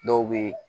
Dɔw bɛ